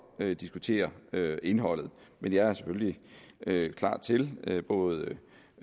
diskutere indholdet men jeg er selvfølgelig klar til at spørgsmål både